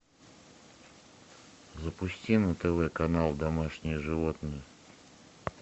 запусти на тв канал домашние животные